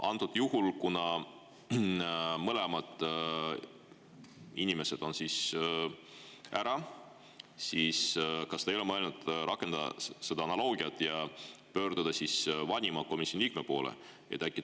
Antud juhul, kuna mõlemad inimesed on ära, kas te ei ole mõelnud rakendada analoogiat ja pöörduda komisjoni vanima liikme poole?